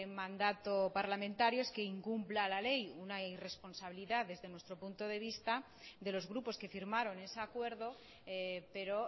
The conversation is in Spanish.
mandato parlamentario es que incumpla la ley una irresponsabilidad desde nuestro punto de vista de los grupos que firmaron ese acuerdo pero